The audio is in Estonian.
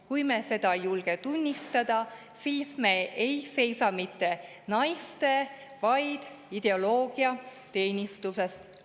Kui me seda ei julge tunnistada, siis me ei seisa mitte naiste, vaid ideoloogia teenistuses.